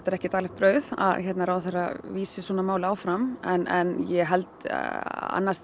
er ekki daglegt brauð að ráðherra vísi svona máli áfram en ég held annars